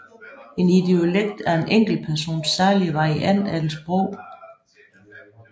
En idiolekt er en enkeltpersons særlige variant af et sprog